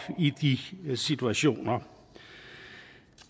i de situationer